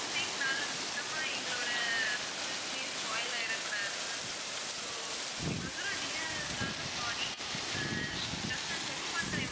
mistake னால மொத்தமா எங்களோட business ஏ spoil ஆகிட கூடாது ma'am so இவ்ளோ தூரம் delay ஆகுறதுக்காக sorry ஆஹ் just check பண்றேன்